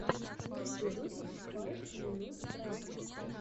лучший выпуск файв минут крафтс